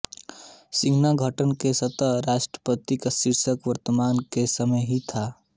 संघीय गठन के तहत राष्ट्रपति का शीर्षक वर्तमान के समान ही था